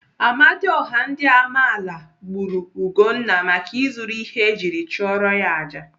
Amadioha ndị Amaala gburu Ugonna maka izuru ihe ejiri chụọrọ ya àjà.